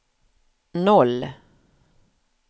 noll